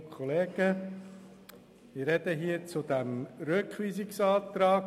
Ich spreche zum Rückweisungsantrag.